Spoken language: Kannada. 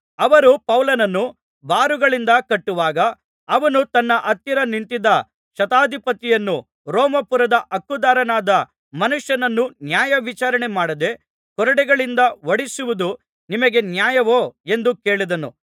ಅವರು ಪೌಲನನ್ನು ಬಾರುಗಳಿಂದ ಕಟ್ಟುವಾಗ ಅವನು ತನ್ನ ಹತ್ತಿರ ನಿಂತಿದ್ದ ಶತಾಧಿಪತಿಯನ್ನು ರೋಮಾಪುರದ ಹಕ್ಕುದಾರನಾದ ಮನುಷ್ಯನನ್ನು ನ್ಯಾಯವಿಚಾರಣೆಮಾಡದೆ ಕೊರಡೆಗಳಿಂದ ಹೊಡಿಸುವುದು ನಿಮಗೆ ನ್ಯಾಯವೋ ಎಂದು ಕೇಳಿದನು